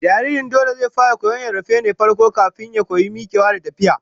Jariri dole zai fara koyon rarrafe ne farko, kafin ya koyi mikewa da tafiya